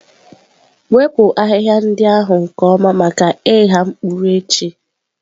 Wepụ ahịhịa ndị ahụ nke ọma maka ịgha mkpụrụ echi.